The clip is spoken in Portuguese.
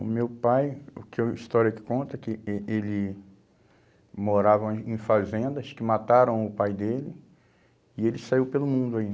O meu pai, o que eu, a história que conta é que eh eh ele morava em fazendas que mataram o pai dele e ele saiu pelo mundo.